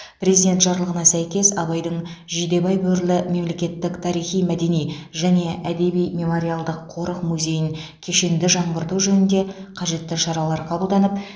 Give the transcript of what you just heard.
президент жарлығына сәйкес абайдың жидебай бөрілі мемлекеттік тарихи мәдени және әдеби мемориалдық қорық музейін кешенді жаңғырту жөнінде қажетті шаралар қабылданып